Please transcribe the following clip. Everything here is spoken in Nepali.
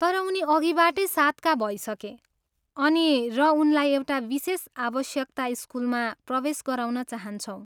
तर, उनी अघिबाटै सातका भइसके अनि र उनलाई एउटा विशेष आवश्यकता स्कुलमा प्रवेश गराउन चाहन्छौँ।